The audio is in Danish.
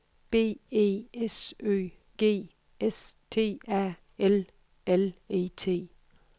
B E S Ø G S T A L L E T